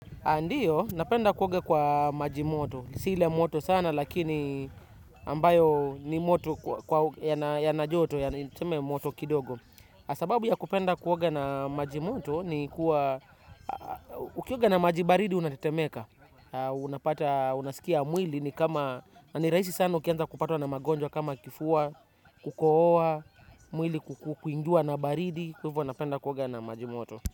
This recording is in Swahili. Ndiyo napenda kuoga kwa maji moto. Si ile moto sana lakini ambayo ni moto yana joto yaani tuseme moto kidogo. Sababu ya kupenda kuoga na maji moto ni kuwa ukioga na maji baridi unatetemeka. Unapata unasikia mwili ni kama, ni rahisi sana ukianza kupatwa na magonjwa kama kifua kukohoa mwili kuingiwa na baridi. Hivyo napenda kuoga na majimoto.